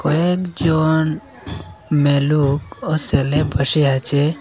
কয়েকজন মেয়েলুক ও ছেলে বসে আছে।